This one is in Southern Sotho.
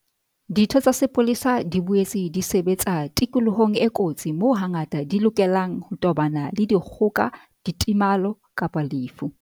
Ditho tsa sepolesa di boetse di sebetsa tikolohong e kotsi moo hangata di lokelang ho tobana le dikgoka, ditemalo kapa lefu.